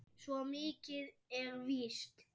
Svo mikið er víst